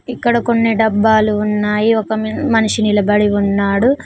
ఇక్కడ కొన్ని డబ్బాలు ఉన్నాయి ఒక మ్ మనిషి నిలబడి ఉన్నాడు.